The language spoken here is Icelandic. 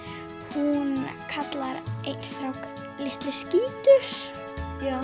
hún kallar einn strák litli skítur já